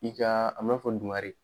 I ka a fɔ dugare.